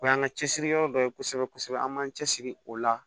O y'an ka cɛsiri yɔrɔ dɔ ye kosɛbɛ kosɛbɛ an b'an cɛsiri o la